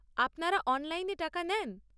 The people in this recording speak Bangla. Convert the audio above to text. আপনারা অনলাইনে টাকা নেন?